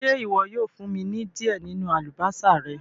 Ṣé iwọ yóò fún mí ni diẹ ninu àlúbọsà rẹ̀?